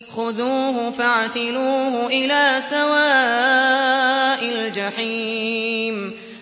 خُذُوهُ فَاعْتِلُوهُ إِلَىٰ سَوَاءِ الْجَحِيمِ